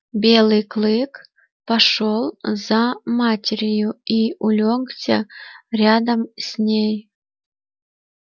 белый клык пошёл за матерью и улёгся рядом с ней